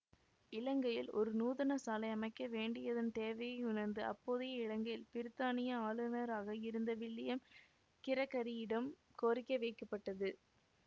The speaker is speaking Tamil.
இலங்கையில் ஒரு நூதனசாலை அமைக்கவேண்டியதன் தேவையை உணர்ந்து அப்போதைய இலங்கையில் பிருத்தானிய ஆளுனராக இருந்த வில்லியம் கிரகரியிடம் கோரிக்கை வைக்கப்பட்டது